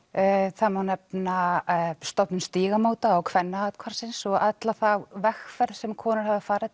það má nefna stofnun Stígamóta og Kvennaathvarfsins og alla þá vegferð sem konur hafa farið